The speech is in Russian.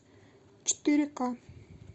четыре ка